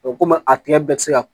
komi a tigɛ bɛɛ ti se ka